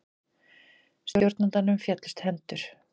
Stjórnandanum féllust hendur.